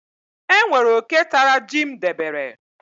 E nwere oke tara ji m debere.